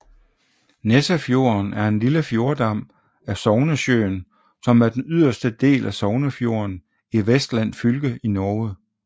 Nessefjorden er en lille fjordarm af Sognesjøen som er den yderste del af Sognefjorden i Vestland fylke i Norge